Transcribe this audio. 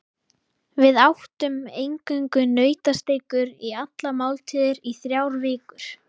Við átum eingöngu nautasteikur í allar máltíðir í þrjár vikur.